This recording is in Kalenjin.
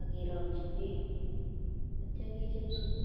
akerongchi beek atyo kechop supu.